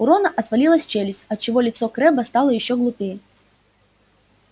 у рона отвалилась челюсть отчего лицо крэбба стало ещё глупее